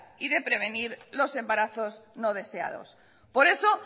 y de prevenir los embarazos no deseados por eso